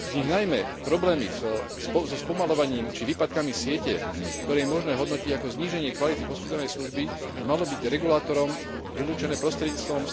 Najmä problémy so spomaľovaním či výpadkami siete, ktoré je možné hodnotiť ako zníženie kvality poskytovanej služby, by malo byť regulátorom vylúčené prostredníctvom